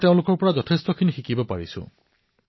মই তেওঁলোকৰ পৰা অনেক কথা শিকিছো